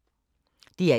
DR1